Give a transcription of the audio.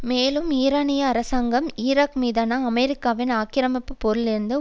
மேலும் ஈரானிய அரசாங்கம் ஈராக் மீதான அமெரிக்காவின் ஆக்கிரமிப்பு போரிலிருந்து